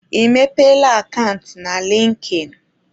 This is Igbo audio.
Ị mepeela akant na likin?